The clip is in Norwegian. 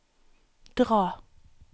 dra